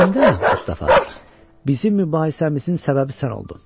Əslində, Mustafa, bizim mübahisəmizin səbəbi sən oldun.